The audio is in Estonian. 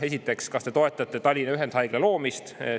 Esiteks, kas te toetate Tallinna Ühendhaigla loomist?